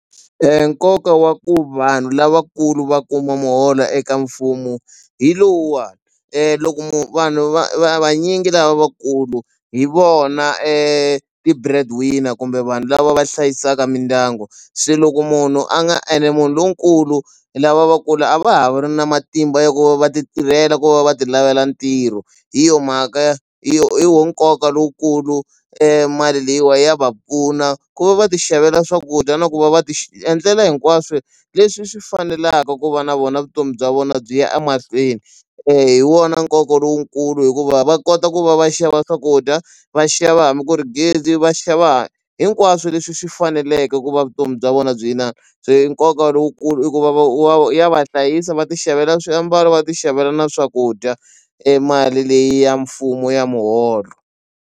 Nkoka wa ku vanhu lavakulu va kuma muholo eka mfumo hi lowuwa loko vanhu va vanyingi lavakulu hi vona ti-bread winner kumbe vanhu lava va hlayisaka mindyangu se loko munhu a nga ene munhu lonkulu lava vakulu a va ha ri na matimba ya ku va va ti tirhela ku va va ti lavela ntirho hi yona mhaka ya hi wona nkoka lowukulu mali leyiwa ya va pfuna ku va va ti xavela swakudya na ku va va ti endlela hinkwaswo leswi swi fanelaka ku va na vona vutomi bya vona byi ya a mahlweni hi wona nkoka lowukulu hikuva va kota ku va va xava swakudya va xava hambi ku ri gezi va xava hinkwaswo leswi swi faneleke ku va vutomi bya vona byi nkoka lowukulu i ku va va ya va hlayisa va ti xavela swiambalo va ti xavela na swakudya e mali leyi ya mfumo ya muholo.